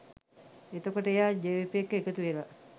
එතකොට එයා ජවිපෙ එක්ක එකතුවෙලා